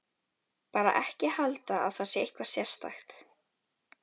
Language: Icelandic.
Bara ekki halda að það sé eitthvað sérstakt.